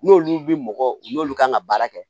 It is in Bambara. N'olu bi mɔgɔ n'olu kan ka baara kɛ